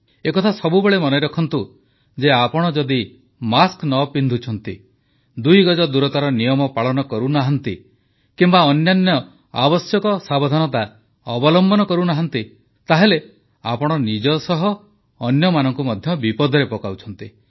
ଏକଥା ସବୁବେଳେ ମନେରଖନ୍ତୁ ଯେ ଆପଣ ଯଦି ମାସ୍କ ନ ପିନ୍ଧୁଛନ୍ତି ଦୁଇଗଜ ଦୂରତାର ନିୟମ ପାଳନ କରୁନାହାନ୍ତି କିମ୍ବା ଅନ୍ୟାନ୍ୟ ଆବଶ୍ୟକ ସାବଧାନତା ଅବଲମ୍ବନ କରୁନାହାଁନ୍ତି ତାହେଲେ ଆପଣ ନିଜ ସହ ଅନ୍ୟମାନଙ୍କୁ ମଧ୍ୟ ବିପଦରେ ପକାଉଛନ୍ତି